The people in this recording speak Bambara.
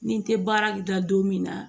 Ni n tɛ baara da don min na